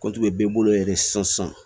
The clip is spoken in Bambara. bɛɛ bolo yɛrɛ sisan